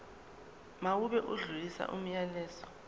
mawube odlulisa umyalezo